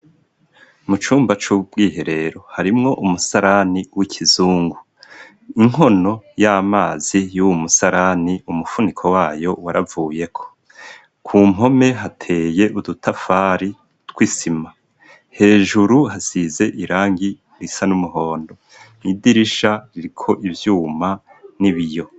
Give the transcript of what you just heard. Mucumba c'ubwihe rero harimwo umusarani w'ikizungu inkono y'amazi y'uwu musarani umufuniko wayo waravuye ko ku mpome hateye udutafari tw'isima hejuru hasize irangi bisa n'umuhondo nidirisha riko ivyuma n'ibiyo.